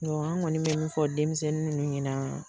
An kɔni bɛ min fɔ denmisɛnnin ninnu ɲɛna,